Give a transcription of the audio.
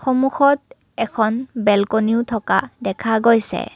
সন্মুখত এখন বেলকনিও থকা দেখা গৈছে।